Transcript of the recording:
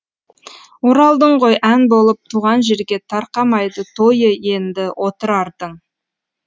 оралдың ғой ән болып туған жерге тарқамайды тойы енді отырардың